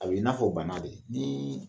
A be i n'a fɔ banna de. Niin